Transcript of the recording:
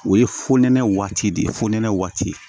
O ye fonɛnɛ waati de ye fonɛnɛ waati